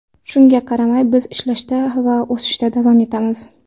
Shunga qaramay, biz ishlashda va o‘sishda davom etamiz.